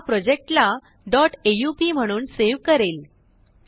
हाप्रोजेक्टलाaup dot aup म्हणूनसेव करेल